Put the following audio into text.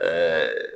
Ɛɛ